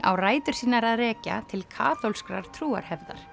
á rætur sínar að rekja til kaþólskrar